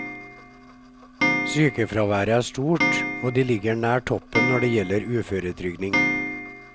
Sykefraværet er stort, og de ligger nær toppen når det gjelder uføretrygding.